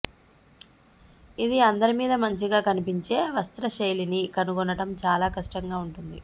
ఇది అందరి మీద మంచిగా కనిపించే వస్త్ర శైలిని కనుగొనడం చాలా కష్టంగా ఉంటుంది